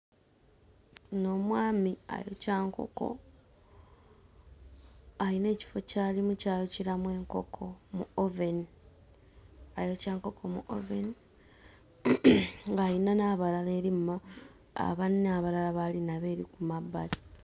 Ono omwami ayokya nkoko, ayina ekifo ky'alimu ky'ayokyeramu enkoko mu oveni. Ayokya nkoko mu oveni ng'ayina n'abalala eri mu ma... banne abalala b'ali nabo eri ku mabbali.